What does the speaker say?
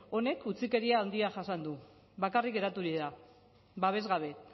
honek utzikeria handia jasan du bakarrik geraturik da babes gabe